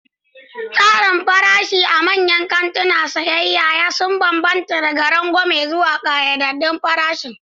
Tsarin farashi a manyan kantunan sayayya sun bambanta, daga rangwame zuwa ƙayyadaddun farashin.